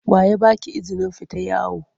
Wa ya ba ki izinin fita yawo?